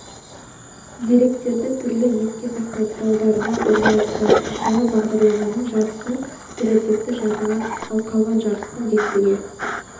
деректерді түрлі еске сақтау құралдарына орналастырады мысалы бағдарламаның жартысын оперативті жадыға ал қалған жартысын дискіге